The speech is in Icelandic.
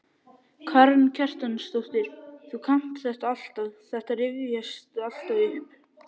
Karen Kjartansdóttir: Þú kannt þetta alltaf, þetta rifjast alltaf upp?